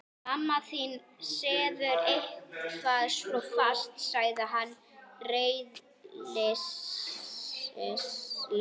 Mamma þín sefur eitthvað svo fast sagði hann ráðleysislega.